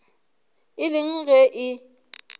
e le eng ge e